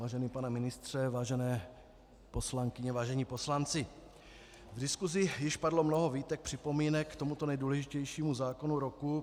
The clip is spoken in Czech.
Vážený pane ministře, vážené poslankyně, vážení poslanci, v diskusi již padlo mnoho výtek, připomínek k tomuto nejdůležitějšímu zákonu roku.